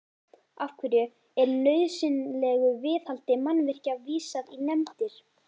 Af hverju er nauðsynlegu viðhaldi mannvirkja vísað í nefndir?